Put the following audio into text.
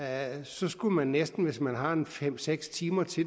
at så skulle man næsten hvis man har en fem seks timer til